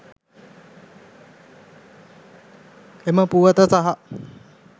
එම පුවත සහ